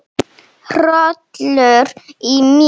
Hrollur í mér.